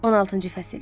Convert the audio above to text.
16-cı fəsil.